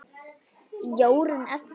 Jórunn Edda.